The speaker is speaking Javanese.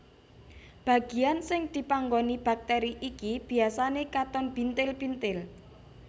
Bagian sing dipanggoni bakteri iki biasane katon bintil bintil